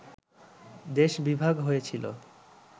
দেশ বিভাগ হয়েছিলো